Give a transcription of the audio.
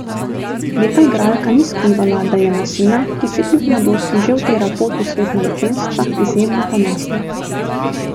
Lepa igralka ni skrivala, da je na sina, ki si kljub mladosti že utira pot v svet manekenstva, izjemno ponosna.